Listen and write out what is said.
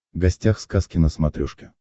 гостях сказки на смотрешке